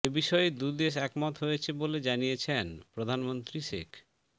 এ বিষয়ে দুদেশ একমত হয়েছে বলে জানিয়েছেন প্রধানমন্ত্রী শেখ